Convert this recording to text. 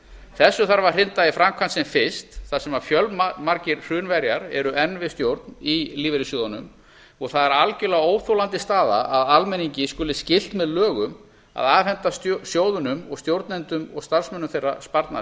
þessu þarf að hrinda í framkvæmd sem fyrst þar sem fjölmargir hrunverjar eru enn við stjórn í lífeyrissjóðunum og það er algjörlega óþolandi staða að almenningi skuli skylt með lögum að afhenda sjóðunum og stjórnendum og starfsmönnum þeirra sparnað